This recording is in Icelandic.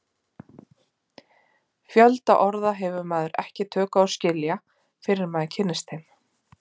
Fjölda orða hefur maður ekki tök á að skilja fyrr en maður kynnist þeim.